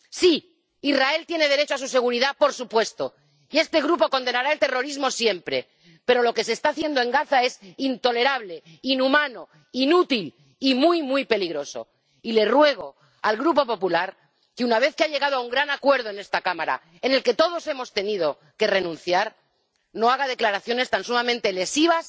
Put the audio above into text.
Sí, Israel tiene derecho a su seguridad, por supuesto, y este Grupo condenará el terrorismo siempre, pero lo que se está haciendo en Gaza es intolerable, inhumano, inútil y muy, muy peligroso. Y le ruego al Grupo Popular que, una vez que se ha llegado a un gran acuerdo en esta Cámara en el que todos hemos tenido que renunciar, no haga declaraciones tan sumamente lesivas